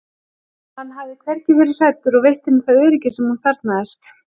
hann hafði hvergi verið hræddur og veitt henni það öryggi sem hún þarfnaðist.